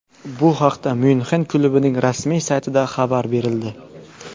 Bu haqda Myunxen klubining rasmiy saytida xabar berildi .